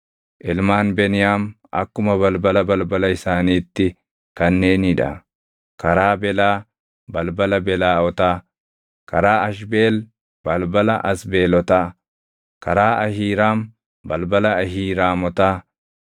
Ilmaan Beniyaam akkuma balbala balbala isaaniitti kanneenii dha: karaa Belaa, balbala Belaaʼotaa; karaa Ashbeel, balbala Asbeelotaa; karaa Ahiiraam, balbala Ahiiraamotaa;